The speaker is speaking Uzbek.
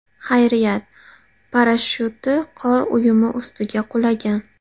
Xayriyat, parashyutchi qor uyumi ustiga qulagan.